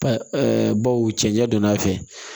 Ɛɛ baw cɛncɛn don a fɛ